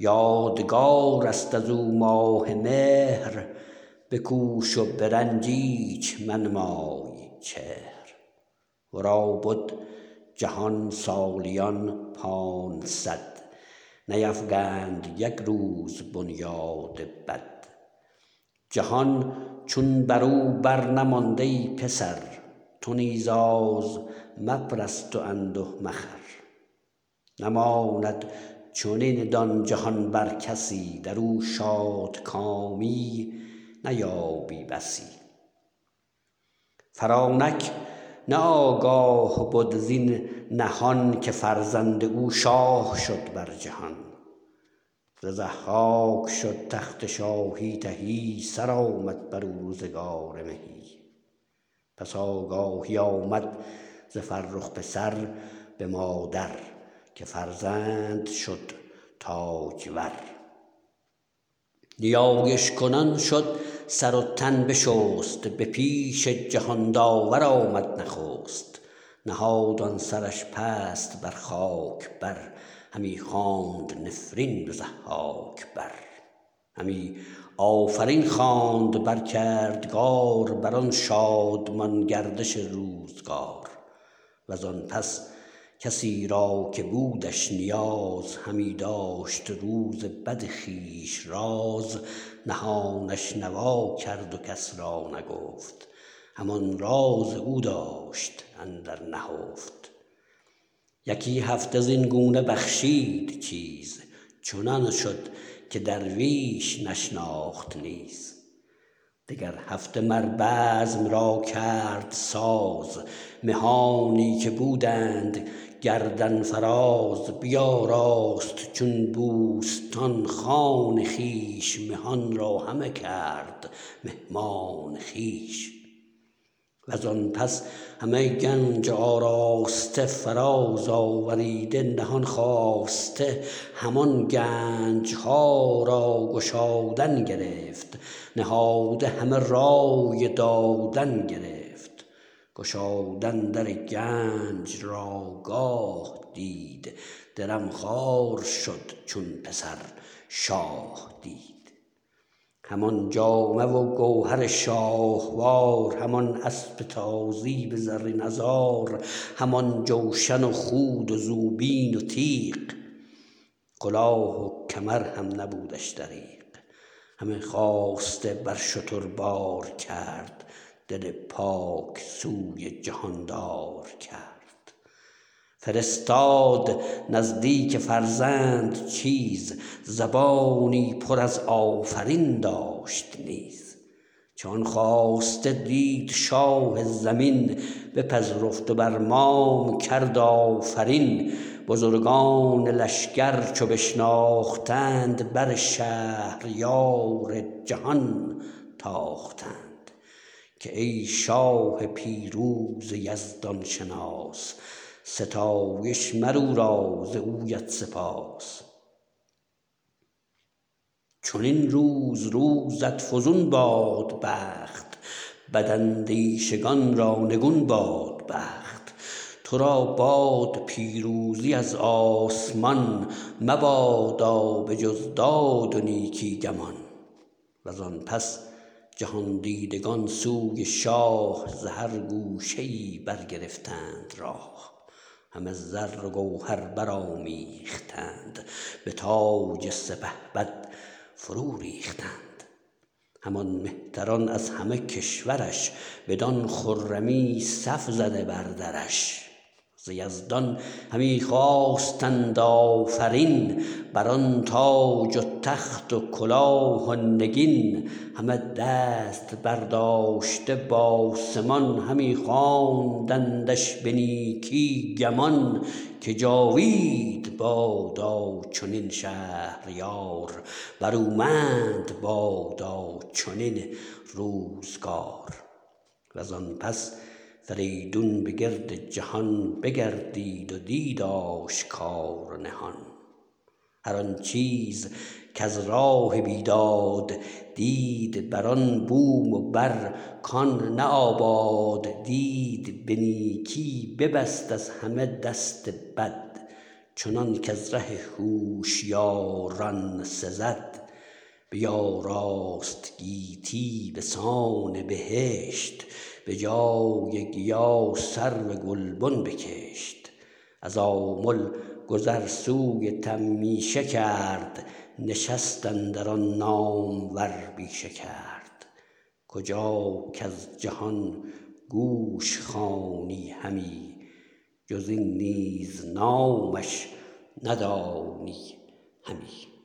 یادگار است از او ماه مهر بکوش و به رنج ایچ منمای چهر ورا بد جهان سالیان پانصد نیفکند یک روز بنیاد بد جهان چون برو بر نماند ای پسر تو نیز آز مپرست و انده مخور نماند چنین دان جهان بر کسی درو شادکامی نیابی بسی فرانک نه آگاه بد زین نهان که فرزند او شاه شد بر جهان ز ضحاک شد تخت شاهی تهی سرآمد برو روزگار مهی پس آگاهی آمد ز فرخ پسر به مادر که فرزند شد تاجور نیایش کنان شد سر و تن بشست به پیش جهان داور آمد نخست نهاد آن سرش پست بر خاک بر همی خواند نفرین به ضحاک بر همی آفرین خواند بر کردگار بر آن شادمان گردش روزگار وزان پس کسی را که بودش نیاز همی داشت روز بد خویش راز نهانش نوا کرد و کس را نگفت همان راز او داشت اندر نهفت یکی هفته زین گونه بخشید چیز چنان شد که درویش نشناخت نیز دگر هفته مر بزم را کرد ساز مهانی که بودند گردن فراز بیاراست چون بوستان خان خویش مهان را همه کرد مهمان خویش وزان پس همه گنج آراسته فراز آوریده نهان خواسته همان گنج ها را گشادن گرفت نهاده همه رای دادن گرفت گشادن در گنج را گاه دید درم خوار شد چون پسر شاه دید همان جامه و گوهر شاهوار همان اسپ تازی به زرین عذار همان جوشن و خود و زوپین و تیغ کلاه و کمر هم نبودش دریغ همه خواسته بر شتر بار کرد دل پاک سوی جهاندار کرد فرستاد نزدیک فرزند چیز زبانی پر از آفرین داشت نیز چو آن خواسته دید شاه زمین بپذرفت و بر مام کرد آفرین بزرگان لشگر چو بشناختند بر شهریار جهان تاختند که ای شاه پیروز یزدان شناس ستایش مر او را و زویت سپاس چنین روز روزت فزون باد بخت بد اندیشگان را نگون باد بخت تو را باد پیروزی از آسمان مبادا به جز داد و نیکی گمان و زآن پس جهان دیدگان سوی شاه ز هر گوشه ای برگرفتند راه همه زر و گوهر برآمیختند به تاج سپهبد فرو ریختند همان مهتران از همه کشور ش بدان خرمی صف زده بر درش ز یزدان همی خواستند آفرین بر آن تاج و تخت و کلاه و نگین همه دست برداشته بآسمان همی خواندندش به نیکی گمان که جاوید بادا چنین شهریار برومند بادا چنین روزگار و زآن پس فریدون به گرد جهان بگردید و دید آشکار و نهان هر آن چیز کز راه بیداد دید هر آن بوم و بر کآن نه آباد دید به نیکی ببست از همه دست بد چنانک از ره هوشیاران سزد بیاراست گیتی بسان بهشت به جای گیا سرو گلبن بکشت از آمل گذر سوی تمیشه کرد نشست اندر آن نامور بیشه کرد کجا کز جهان گوش خوانی همی جز این نیز نامش ندانی همی